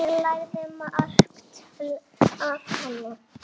Ég lærði margt af henni.